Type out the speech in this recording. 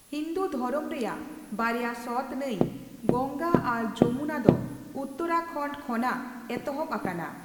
ᱦᱤᱱᱫᱩᱫᱷᱚᱨᱚᱢ ᱨᱮᱭᱟᱜ ᱵᱟᱨᱭᱟ ᱥᱚᱛ ᱱᱟᱹᱭ, ᱜᱚᱝᱜᱟ, ᱟᱨ ᱡᱚᱢᱩᱱᱟ ᱫᱚ ᱩᱛᱛᱨᱟᱠᱷᱚᱱᱰᱚ ᱠᱷᱚᱱᱟᱜ ᱮᱛᱚᱦᱚᱵ ᱟᱠᱟᱱᱟ ᱾